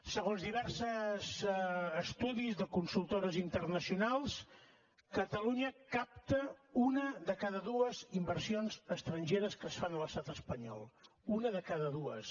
segons diversos estudis de consultores internacionals catalunya capta una de cada dues inversions estrangeres que es fan a l’estat espanyol una de cada dues